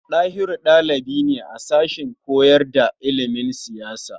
Ɗahiru ɗalibi ne a sashen koyar da ilimin siyasa.